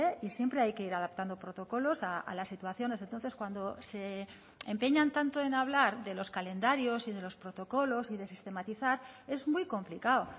y siempre hay que ir adaptando protocolos a las situaciones entonces cuando se empeñan tanto en hablar de los calendarios y de los protocolos y de sistematizar es muy complicado